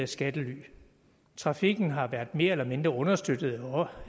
skattely trafikken har været mere eller mindre understøttet